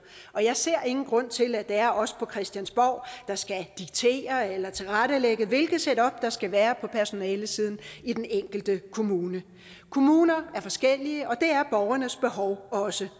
og jeg ser ingen grund til at det er os på christiansborg der skal diktere eller tilrettelægge hvilket setup der skal være på personalesiden i den enkelte kommune kommuner er forskellige og det er borgernes behov også